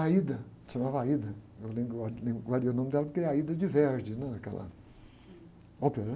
chamava, eu lembro o nome dela porque é, aquela ópera.